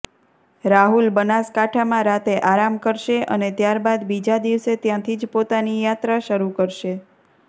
રાહુલ બનાસકાંઠામાં રાતે આરામ કરશે અને ત્યારબાદ બીજા દિવસે ત્યાંથી જ પોતાની યાત્રા શરૂ કરશે